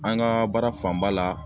An ga baara fanba la